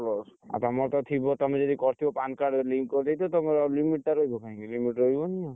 ଆଉ ତମର ତ ଥିବ ତମେ ଯଦି କରିଥିବ PAN card link କରିଦେଇଥିବ ତମର limit ଟା ରହିବ କାଇଁ limit ରହିବ।